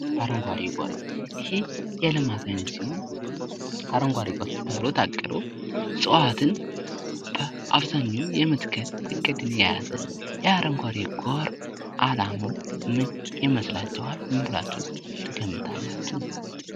አረንጓዴው ጎርፍ ይሄ የልማት አይነት ሲሆን፤ አረንጓዴው ጎርፍ ተብሎ ታቅዶ እጽዋትን በአብዛኛው የመትከል እቅድን የያዘ ነው። የአረንጓዴው ጎርፍ አላማው ምን ይመስላችኋል ?ምን ብላችሁ ትገምታላቺሁ?